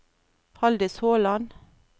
Haldis Håland